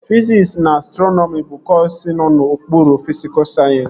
Fiziks na Astrọnọmi bụ kọsu nọ n'okpuru fisikul sayensịs